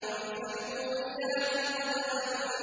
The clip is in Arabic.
فَالْمُورِيَاتِ قَدْحًا